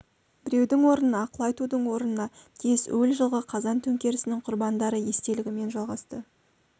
берудің орнына ақыл айтудың орнына тез өл жылғы қазан төңкерісінің құрбандары естелігімен жалғасты